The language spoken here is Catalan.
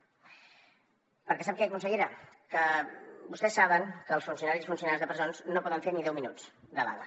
perquè sap què consellera que vostès saben que els funcionaris i funcionàries de presons no poden fer ni deu minuts de vaga